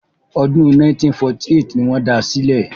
Ọdún 1948 ni wọ́n da sílẹ̀.